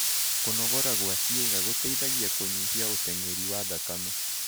Kũnogora gwa ciĩga gũteĩthagĩa kũnyĩhĩa ũtengerĩ wa thakame